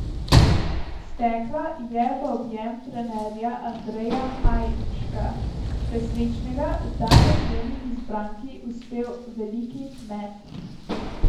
Stekla je v objem trenerja Andreja Hajnška, presrečnega, da je njeni izbranki uspel veliki met.